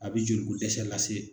A bɛ joli ko dɛsɛ lase.